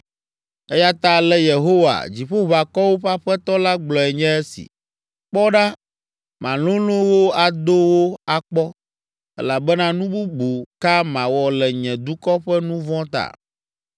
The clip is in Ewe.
Eya ta ale Yehowa, Dziƒoʋakɔwo ƒe Aƒetɔ la gblɔe nye esi: “Kpɔ ɖa malolõ wo ado wo akpɔ, elabena nu bubu ka mawɔ le nye dukɔ ƒe nu vɔ̃ ta?